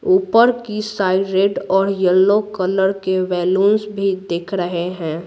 ऊपर की side red और यलो कलर के बैलूंस भी दिख रहे हैं।